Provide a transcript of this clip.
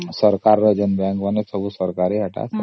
ଏସବୁ ସରକାର ର